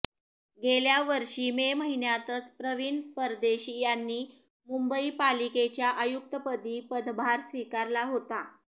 गेल्यावर्षी मे महिन्यातच प्रवीण परदेशी यांनी मुंबई पालिकेच्या आयुक्तपदी ्पदभार स्विकारला होता